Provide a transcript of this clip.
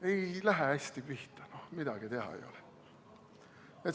Ei lähe hästi pihta, no midagi teha ei ole.